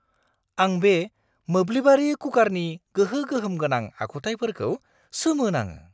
आं बे मोब्लिबारि कुकारनि गोहो-गोहोम गोनां आखुथायफोरखौ सोमो नाङो।